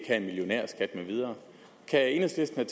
have en millionærskat med videre kan enhedslisten